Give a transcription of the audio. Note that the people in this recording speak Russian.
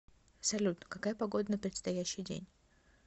салют какая погода на предстоящий день